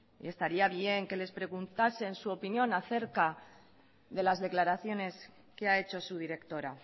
y estaría bien que les preguntasen su opinión a cerca de las declaraciones que ha hecho su directora